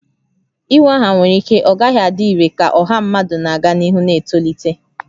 Inwe aha nwere ike ọ gaghị adị irè ka ọha mmadụ na-aga n'ihu na-etolite